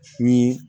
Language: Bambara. Ni